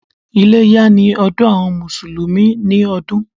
Iléyá ni ọdún àwọn Mùsùlùmí ni ọdún.